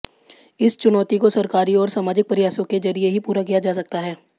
इस चुनौती को सरकारी और सामाजिक प्रयासों के जरिए ही पूरा किया जा सकता है